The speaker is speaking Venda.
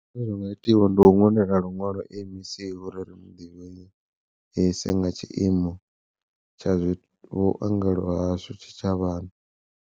Zwine zwa nga itiwa ndi u ṅwalela luṅwalo M_E_C uri ri muḓivhise nga tshiimo tsha zwi vhuongelo hashu tshitshavhani.